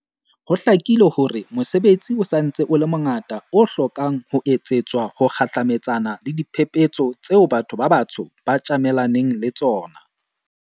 Ho hlakile hore mosebetsi o sa ntse o le mongata o hlokang ho etsetswa ho kgahlametsana le diphephetso tseo batho ba batsho ba tjamelaneng le tsona.